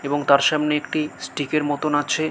এবং তার সামনে একটি স্টিক -এর মতোন আছে ।